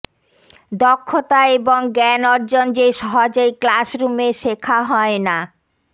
দক্ষতা এবং জ্ঞান অর্জন যে সহজেই ক্লাসরুমে শেখা হয় না